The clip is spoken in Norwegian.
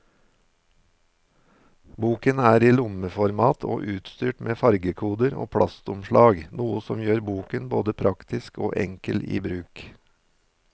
Boken er i lommeformat og utstyrt med fargekoder og plastomslag, noe som gjør boken både praktisk og enkel i bruk.